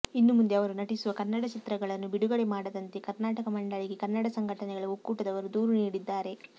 ಇನ್ನು ಮುಂದೆ ಅವರು ನಟಿಸುವ ಕನ್ನಡ ಚಿತ್ರಗಳನ್ನು ಬಿಡುಗಡೆ ಮಾಡದಂತೆ ಕರ್ನಾಟಕ ಮಂಡಳಿಗೆ ಕನ್ನಡ ಸಂಘಟನೆಗಳ ಒಕ್ಕೂಟದವರು ದೂರು ನೀಡಿದ್ದಾರೆ